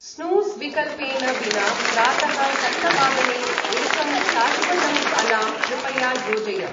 Snooze विकल्पेन विना प्रातः सप्तवादने एकं शाश्वतम् अलार्म् कृपया योजय।